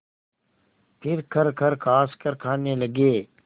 फिर खरखर खाँसकर खाने लगे